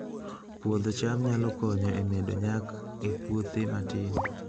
Puodho cham nyalo konyo e medo nyak e puothe matindo